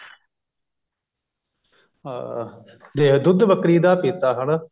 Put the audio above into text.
ਹਾਂ ਦੁੱਧ ਬੱਕਰੀ ਦਾ ਪੀਤਾ